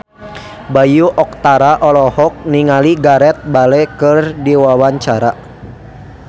Bayu Octara olohok ningali Gareth Bale keur diwawancara